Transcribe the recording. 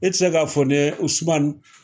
E te se k'a fɔ ne usumani